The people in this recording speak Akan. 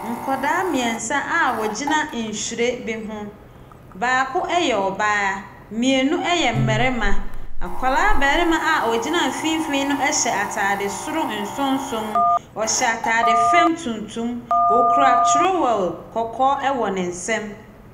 Nkwadaa mmiɛnsa a wɔgyina nhyire bi ho, baako yɛ ɔbaa, mmienu yɛ mmarima. Akwadaa barima a ogyina mfimfin no hyɛ ataade soro nsonson, ɔhyɛ ataare fam tuntum, okura trowel kɔkɔɔ wɔ ne nsamu.